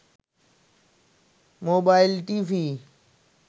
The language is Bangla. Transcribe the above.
mobile TV